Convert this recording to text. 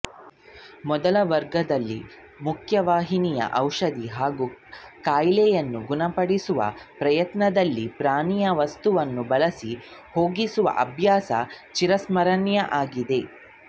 ಮೊದಲ ವರ್ಗದಲ್ಲಿ ಮುಖ್ಯವಾಹಿನಿಯು ಔಷಧ ಹಾಗೂ ಕಾಯಿಲೆಯನ್ನು ಗುಣ ಪಡಿಸುವ ಪ್ರಯತ್ನದಲ್ಲಿ ಪ್ರಾಣಿ ವಸ್ತುಗಳನ್ನು ಬಳಸಿ ಹೋಗಿಸುವ ಅಭ್ಯಾಸ ಚಿರಸ್ಮರಣೆಯವನ್ನಾಗಿಸಿದೆ